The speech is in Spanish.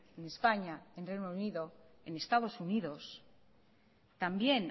en españa en reino unido en estados unidos también